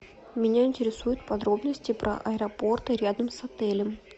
меня интересуют подробности про аэропорты рядом с отелем